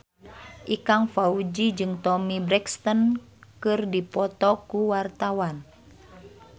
Ikang Fawzi jeung Toni Brexton keur dipoto ku wartawan